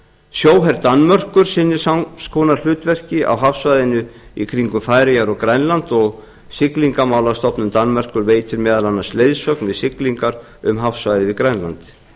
sjóher danmerkur sinnir sams konar hlutverki á hafsvæðinu kringum færeyjar og grænlands og siglingamálastofnun danmerkur veitir meðal annars leiðsögn við siglingar um hafsvæðið við grænland